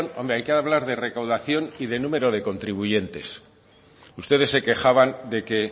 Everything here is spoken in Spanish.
hombre hay que hablar de recaudación y de número de contribuyentes ustedes se quejaban de que